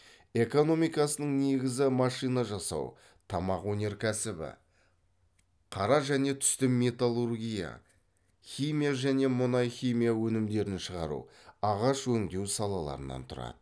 экономикасының негізі машина жасау тамақ өнеркәсібі қара және түсті металлургия химия және мұнай химия өнімдерін шығару ағаш өңдеу салаларынан тұрады